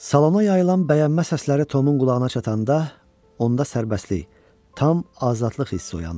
Salona yayılan bəyənmə səsləri Tomun qulağına çatanda onda sərbəstlik, tam azadlıq hissi oyandı.